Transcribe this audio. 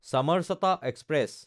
Chamarchata express